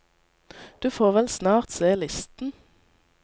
Du får vel snart se listen.